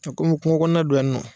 To komi kuŋokɔɔna don yan nɔ